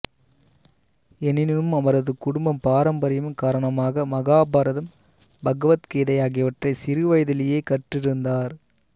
எனினும் அவரது குடும்பப் பாரம்பரியம் காரணமாக மகாபாரதம் பகவத்கீதை ஆகியவற்றை சிறு வயதிலேயே கற்றிருந்தார்